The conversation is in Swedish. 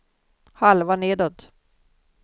halva nedåt